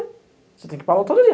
Você tem que ir para a aula todo dia.